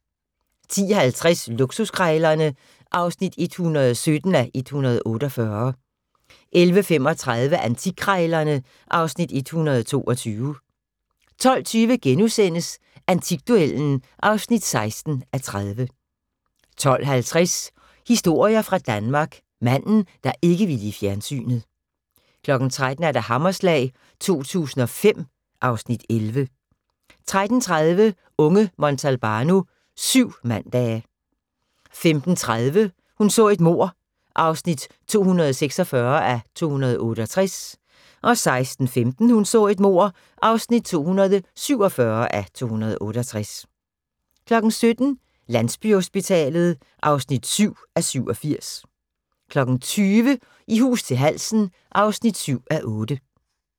10:50: Luksuskrejlerne (117:148) 11:35: Antikkrejlerne (Afs. 122) 12:20: Antikduellen (16:30)* 12:50: Historier fra Danmark – Manden, der ikke ville i fjernsynet 13:00: Hammerslag 2005 (Afs. 11) 13:30: Unge Montalbano: Syv mandage 15:30: Hun så et mord (246:268) 16:15: Hun så et mord (247:268) 17:00: Landsbyhospitalet (7:87) 20:00: I hus til halsen (7:8)